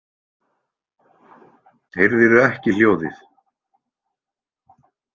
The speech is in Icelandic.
Heyrðirðu ekki hljóðið?